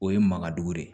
O ye makadugu ye